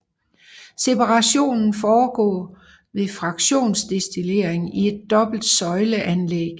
Separationen foregår ved fraktionsdestillering i et dobbelt søjle anlæg